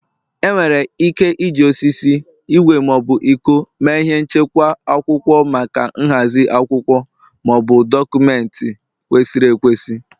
Enwere ike iji osisi, ígwè ma ọ bụ iko mee ihe nchekwa akwụkwọ maka nhazi akwụkwọ Maọbụ, dọkụmentị kwesịrị ekwesị